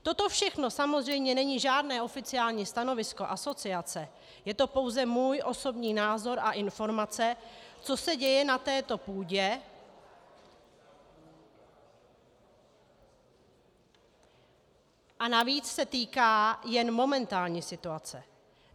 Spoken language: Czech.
Toto všechno samozřejmě není žádné oficiální stanovisko asociace, je to pouze můj osobní názor a informace, co se děje na této půdě, a navíc se týká jen momentální situace.